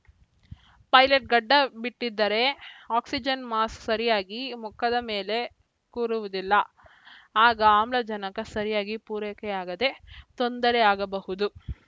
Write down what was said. pilot ಗಡ್ಡ ಬಿಟ್ಟಿದ್ದರೆ oxygen mask ಸರಿಯಾಗಿ ಮುಖದ ಮೇಲೆ ಕೂರುವುದಿಲ್ಲ ಆಗ ಆಮ್ಲಜನಕ ಸರಿಯಾಗಿ ಪೂರೈಕೆಯಾಗದೆ ತೊಂದರೆಯಾಗಬಹುದು